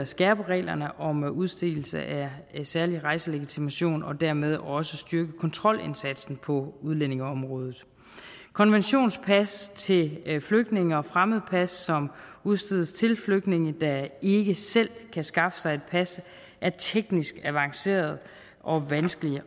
skærpe reglerne yderligere om udstedelse af særlig rejselegitimation og dermed også styrke kontrolindsatsen på udlændingeområdet konventionspas til flygtninge og fremmedpas som udstedes til flygtninge der ikke selv kan skaffe sig et pas er teknisk avancerede og vanskelige